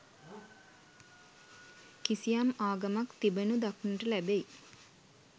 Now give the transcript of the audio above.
කිසියම් ආගමක් තිබෙනු දක්නට ලැබෙයි.